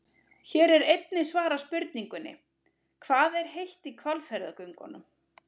Hér er einnig svarað spurningunni: Hvað er heitt í Hvalfjarðargöngunum?